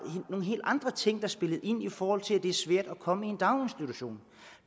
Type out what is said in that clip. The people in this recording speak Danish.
nogle helt andre ting der spillede ind i forhold til at det er svært at komme i en daginstitution